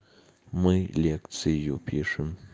мы лекцию пишем